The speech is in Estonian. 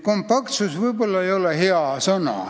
"Kompaktsus" ei ole võib-olla hea sõna.